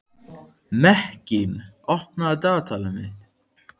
Mekkín, opnaðu dagatalið mitt.